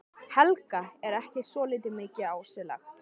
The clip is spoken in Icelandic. Helga: Er ekki svolítið mikið á sig lagt?